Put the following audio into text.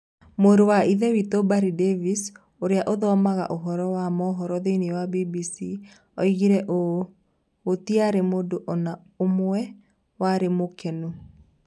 Mũrũrũ wa Ithe witũ Barry Davies, ũrĩa ũthomaga ũhoro wa mohoro thĩinĩ wa BBC, oigire ũũ: "Gũtiarĩ mũndũ o na ũmwe warĩ mũkenu.